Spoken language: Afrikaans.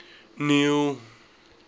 neil